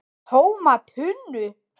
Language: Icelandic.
TÓMA TUNNU!